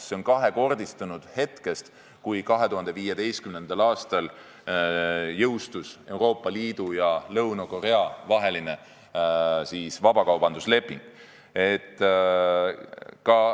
See on kahekordistunud hetkest, kui 2015. aastal jõustus Euroopa Liidu ja Lõuna-Korea vaheline vabakaubandusleping.